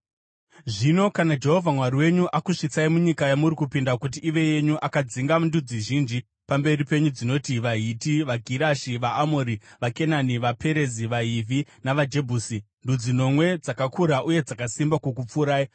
Zvino kana Jehovha Mwari wenyu akusvitsai munyika yamuri kupinda kuti ive yenyu akadzinga ndudzi zhinji pamberi penyu dzinoti: vaHiti, vaGirigashi, vaAmori, vaKenani vaPerizi, vaHivhi, navaJebhusi, ndudzi nomwe dzakakura uye dzakasimba kukupfuurai,